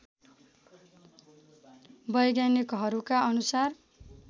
वैज्ञानिकहरूका अनुसार